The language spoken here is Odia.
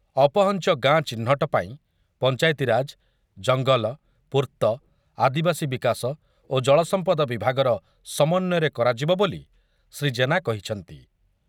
ଅପହଞ୍ଚ ଗାଁ ଚିହ୍ନଟ ପାଇଁ ପଞ୍ଚାୟତିରାଜ, ଜଙ୍ଗଲ, ପୂର୍ତ୍ତ, ଆଦିବାସୀ ବିକାଶ ଓ ଜଳସମ୍ପଦ ବିଭାଗର ସମନ୍ୱୟରେ କରାଯିବ ବୋଲି ଶ୍ରୀ ଜେନା କହିଛନ୍ତି ।